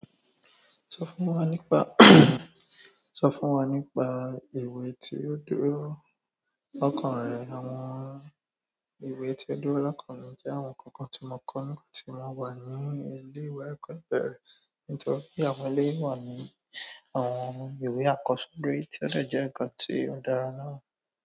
Sọ fún wa nípa. Sọ fún wa nípa ìwé tí ó dúró lọ́kàn rẹ. Àwọn ìwé tí ó dúró lọ́kàn mi jẹ́ àwọn kànkan tí mo kọ́ nígbà tí mo wà ní ilé ìwé ẹ̀kọ́ ìbèrè, nítorí àwọn eléyìí náà ni àwọn ìwé àkósórí tí ó dè jẹ́ nkan tí ó dára náà.